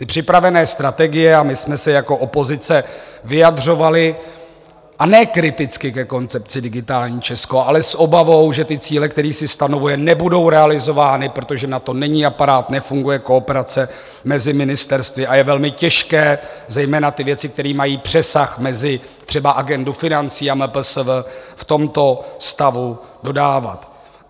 Ty připravené strategie - a my jsme se jako opozice vyjadřovali, a ne kriticky, ke koncepci Digitální Česko, ale s obavou, že ty cíle, které si stanovuje, nebudou realizovány, protože na to není aparát, nefunguje kooperace mezi ministerstvy a je velmi těžké zejména ty věci, které mají přesah mezi třeba agendu financí a MPSV, v tomto stavu dodávat.